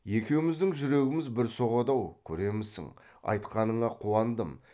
екеуміздің жүрегіміз бір соғады ау көремісің айтқаныңа қуандым